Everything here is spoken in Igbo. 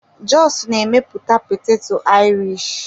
Jos na-emepụta poteto Irish.